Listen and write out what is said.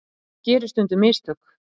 Fólk gerir stundum mistök.